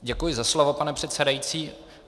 Děkuji za slovo, pane předsedající.